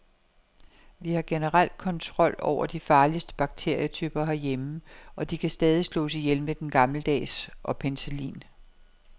Vi har generelt kontrol over de farligste bakterietyper herhjemme, og de kan stadig slås ihjel med den gammeldags og penicillin.